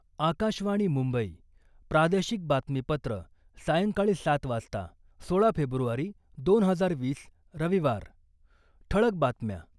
आकाशवाणी मुंबई, प्रादेशिक बातमीपत्र, सायंकाळी सात वाजता, सोळा फेब्रुवारी दोन हजार वीस, रविवार, ठळक बातम्या